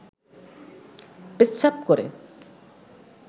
পেচ্ছাব করে